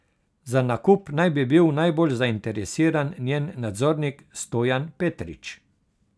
Za nakup naj bi bil najbolj zainteresiran njen nadzornik Stojan Petrič.